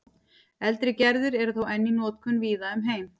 eldri gerðir eru þó enn í notkun víða um heim